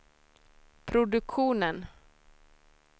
produktionen